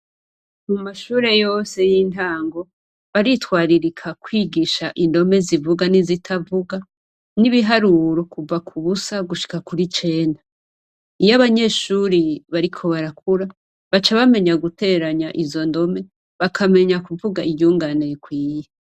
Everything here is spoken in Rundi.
Mu mashure yose y'intango baritwararika kwigisha indome zivuga n'izitavuga n'ibiharuro kuva ku busa gushika kw'icenda. Iyo abanyeshure bariko barakura baca bamenya guteranya izo ndome bakamenya kuvuga iryungane rikwiye.